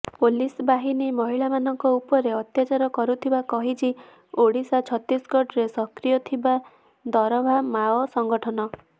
police ବାହିନୀ ମହିଳାମାନଙ୍କ ଉପରେ ଅତ୍ୟାଚାର କରୁଥିବା କହିଛି ଓଡିଶା ଛତିଶଗଡ଼ରେ ସକ୍ରିୟ ଥିବା ଦରଭା ମାଓ ସଂଘଠନ